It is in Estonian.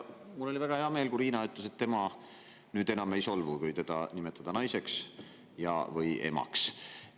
Mul oli väga hea meel, kui Riina ütles, et tema nüüd enam ei solvu, kui teda nimetada naiseks ja/või emaks.